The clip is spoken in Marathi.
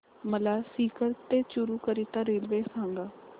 मला सीकर ते चुरु करीता रेल्वे सांगा